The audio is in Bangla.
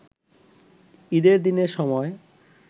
ঈদের দিনের সময়